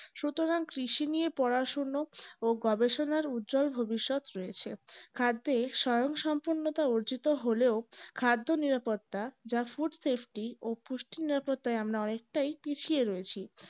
সুতরাং কৃষি নিয়ে পড়াশোনা ও গবেষণার উজ্জ্বল ভবিষ্যৎ রয়েছে। স্বয়ংসম্পূর্ণতা অর্জিত হলেও খাদ্য নিরাপত্তা যা food safety ও পুষ্টি নত তাতে আমরা অনেকটাই পিছিয়ে আছি